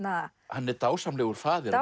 hann er dásamlegur faðir